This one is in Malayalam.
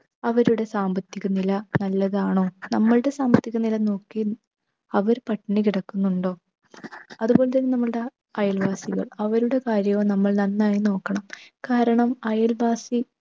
അവരുടെ സാമ്പത്തിക നില നല്ലതാണോ? നമ്മളുടെ സാമ്പത്തിക നില നോക്കി അവർ പട്ടിണി കിടക്കുന്നുണ്ടോ? അതുപോലെ തന്നെ നമ്മളുടെ അയൽവാസികൾ അവരുടെ കാര്യവും നമ്മൾ നന്നായി നോക്കണം. കാരണം അയൽവാസി